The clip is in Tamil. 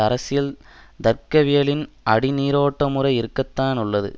அரசியல் தர்க்கவியலின் அடிநீரோட்டமுறை இருக்கத்தான் உள்ளது